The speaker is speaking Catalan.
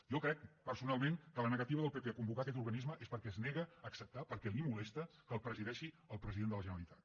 jo crec personalment que la negativa del pp a convocar aquest organisme és perquè es nega a acceptar perquè el molesta que la presideixi el president de la generalitat